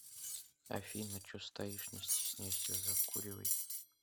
афина че стоишь не стесняйся закуривай